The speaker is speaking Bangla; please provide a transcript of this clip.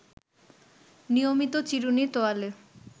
নিয়মিত চিরুনি, তোয়ালে